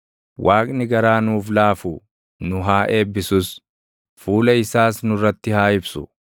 Waaqni garaa nuuf laafu; nu haa eebbisus; fuula isaas nurratti haa ibsu;